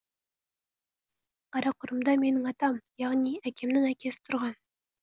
қарақұрымда менің атам яғни әкемнің әкесі тұрған